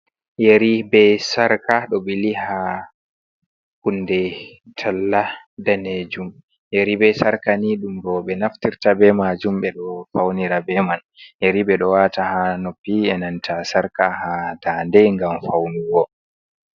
Yari be sarka ɗo bili ha hunde talla danejum, yari be sarka ni ɗum roɓe naftirta be majum ɓe ɗo faunira ɓe man yari ɓe ɗo wata ha noppi enanta sarka ha dande gam faunigo.